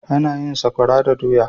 Ana yin Sakwara da doya.